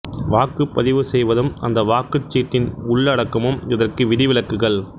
வாக்குப்பதிவு செய்வதும் அந்த வாக்குச் சீட்டின் உள்ளடக்கமும் இதற்கு விதி விலக்குகள்